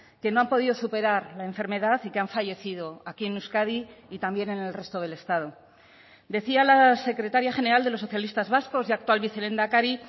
que no han podido superar la enfermedad y que han fallecido aquí en euskadi y también en el resto del estado decía la secretaria general de los socialistas vascos y actual vicelehendakari